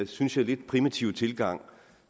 synes jeg lidt primitive tilgang